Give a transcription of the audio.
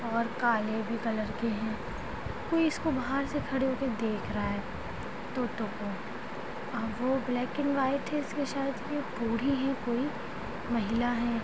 ओर काले भी कलर के है कोई इसको बाहर से खड़े होके देख रहा है तोतों को है और वो ब्लैक एंड व्हाइट है इसलिए शायद बूढ़ी है कोई महिला हैं।